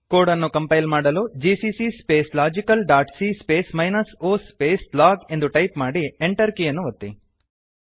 code ಅನ್ನು compile ಮಾಡಲು GCC space logical dot C space minus O space log ಎಂದು type ಮಾಡಿ Enter ಕೀಯನ್ನು ಒತ್ತಿ